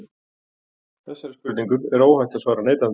Þessari spurningu er óhætt að svara neitandi.